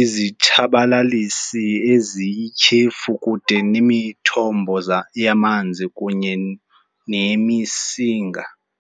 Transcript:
izitshabalalisi eziyityhefu kude nemithombo yamanzi kunye nemisinga.